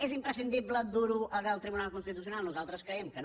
és imprescindible dur ho al tribunal constitucional nosaltres creiem que no